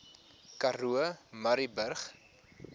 karoo murrayburg